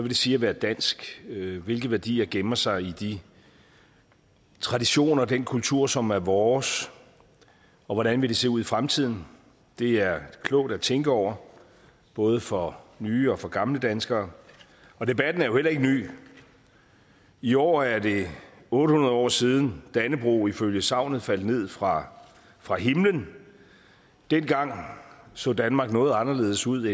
det sige at være dansk hvilke værdier gemmer der sig i de traditioner og den kultur som er vores og hvordan vil det se ud i fremtiden det er klogt at tænke over både for nye og for gamle danskere og debatten er jo heller ikke ny i år er det otte hundrede år siden at dannebrog ifølge sagnet faldt ned fra fra himlen dengang så danmark noget anderledes ud